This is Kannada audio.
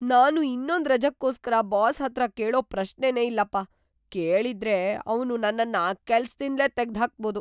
ನಾನು ಇನ್ನೊಂದ್ ರಜಕ್ಕೋಸ್ಕರ ಬಾಸ್ ಹತ್ರ ಕೇಳೋ ಪ್ರಶ್ನೆನೇ ಇಲ್ಲಪ್ಪ. ಕೇಳಿದ್ರೆ ಅವ್ನು ನನ್ನನ್ನ ಕೆಲ್ಸದಿಂದ್ಲೇ ತೆಗ್ದ್ ಹಾಕ್ಬೋದು.